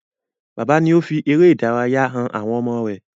Bàbá ni ó fi eré ìdárayá han àwọn ọmọ rẹ̀.